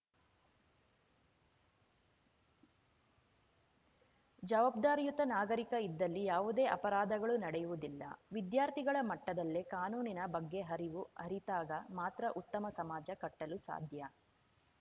ಜವಾಬ್ದಾರಿಯುತ ನಾಗರಿಕ ಇದ್ದಲ್ಲಿ ಯಾವುದೇ ಅಪರಾಧಗಳು ನಡೆಯುವುದಿಲ್ಲ ವಿದ್ಯಾರ್ಥಿಗಳ ಮಟ್ಟದಲ್ಲೆ ಕಾನೂನಿನ ಬಗ್ಗೆ ಅರಿವು ಅರಿತಾಗ ಮಾತ್ರ ಉತ್ತಮ ಸಮಾಜ ಕಟ್ಟಲು ಸಾಧ್ಯ